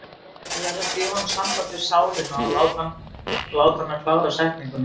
Ég verð að gefa honum samband við sálina og láta hana klára setninguna.